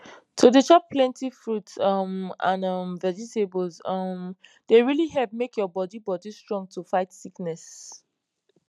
to dey chop plenty fruits um and um vegetables um dey really help make your bodi bodi strong to fight sickness